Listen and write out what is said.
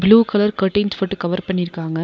Blue colour curtains போட்டு cover பண்ணிருக்காங்க.